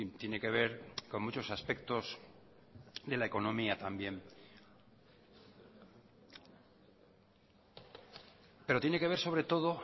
tiene que ver con muchos aspectos de la economía también pero tiene que ver sobre todo